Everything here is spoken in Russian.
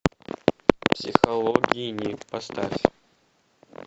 психологини поставь